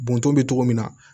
Bɔntɔn bɛ cogo min na